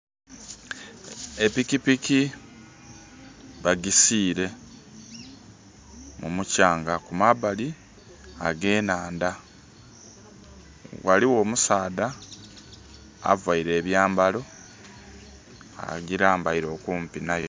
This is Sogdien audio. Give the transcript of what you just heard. Epikipiki bagisiire mumuchanga ku mabbali age'nhandha ghaligho omusadha avaire abyambalo agirambaire okumpi nayo.